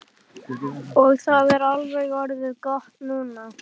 Og það er alveg orðið gott núna.